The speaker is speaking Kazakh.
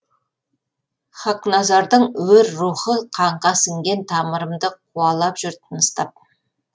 хақназардың өр рухы қанға сіңген тамырымды қуалап жүр тыныстап